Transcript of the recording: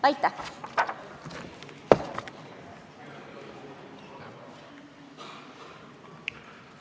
Aitäh!